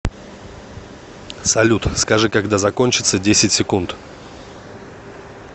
салют скажи когда закончатся десять секунд